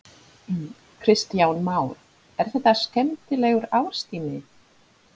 Kristján Már: Er þetta skemmtilegur árstími?